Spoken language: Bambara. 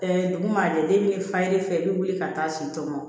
duguma jɛlen fa ye fɛ i bi wuli ka taa si tɔmɔ